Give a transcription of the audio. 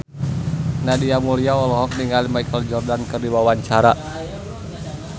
Nadia Mulya olohok ningali Michael Jordan keur diwawancara